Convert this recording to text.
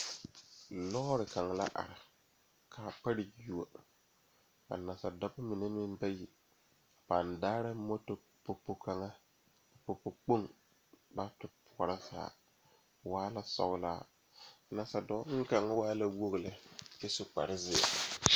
Lɔre la are pegle sokoɔraa a zage zage o zaa kyɛ ka vūū kpimɛ meŋ are a be vūū kpimɛ vɔgle zupele doɔre kyɛ kaa vūū kpine lɔre are sokoɔraa zu kyɛ ka noba meŋ are a kaare.